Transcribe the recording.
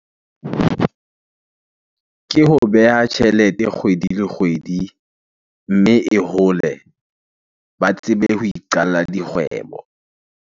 Ke ho beha tjhelete kgwedi le kgwedi, mme e hole ba tsebe ho iqalla dikgwebo.